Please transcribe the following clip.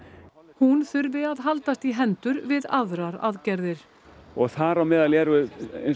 hún þurfi að haldast í hendur við aðrar aðgerðir og þar á meðal er